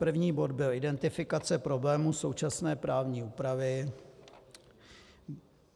První bod byl identifikace problémů současné právní úpravy.